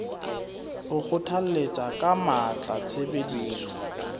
o kgothalletsa ka matla tshebediso